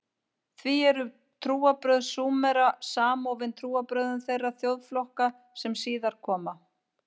Því eru trúarbrögð Súmera samofin trúarbrögðum þeirra þjóðflokka sem síðar koma.